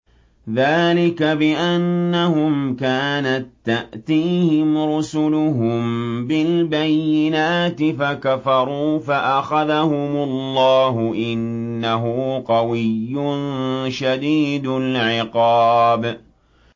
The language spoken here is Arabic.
ذَٰلِكَ بِأَنَّهُمْ كَانَت تَّأْتِيهِمْ رُسُلُهُم بِالْبَيِّنَاتِ فَكَفَرُوا فَأَخَذَهُمُ اللَّهُ ۚ إِنَّهُ قَوِيٌّ شَدِيدُ الْعِقَابِ